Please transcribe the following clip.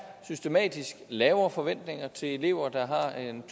systematisk er lavere forventninger til elever der har en